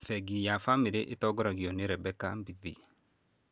Bengi ya Family ĩtongoragio nĩ Rebecca Mbithi.